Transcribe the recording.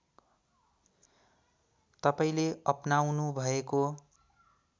तपाईँले अपनाउनुभएको